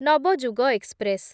Navyug express